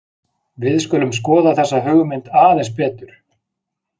Við skulum skoða þessa hugmynd aðeins betur.